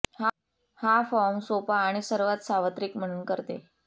हा फॉर्म सोपा आणि सर्वात सार्वत्रिक म्हणून करते